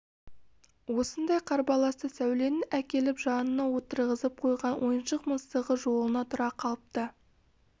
осындай қарбаласта сәуленің әкеліп жанына отырғызып қойған ойыншық мысығы жолына тұра қалыпты